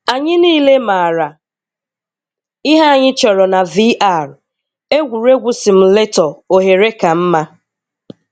Anyị niile maara ihe anyị chọrọ na VR: egwuregwu simulator oghere ka mma.